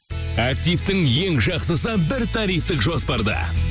активтің ең жақсысы бір тарифтік жоспарда